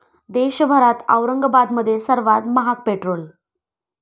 देशभरात औरंगाबादमध्ये सर्वात महाग पेट्रोल!